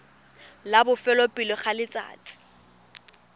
la bofelo pele ga letsatsi